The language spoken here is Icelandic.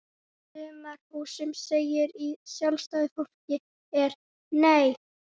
Sumarhúsum segir í Sjálfstæðu fólki er Nei!